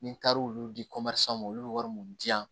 Ni n taara olu di ma olu bɛ wari mun di yan